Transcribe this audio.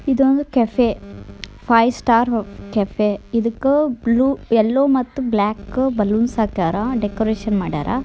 ಇದೊಂದು cafe five star cafe ಇದಕ್ಕೆ blue yellow ಮತ್ತೆ ಬ್ಲಾಕ್ ಗ ಬಲೂನ್ಸ್ ಹಕಾರ ಡೆಕೋರೇಷನ್ ಮಾಡರ.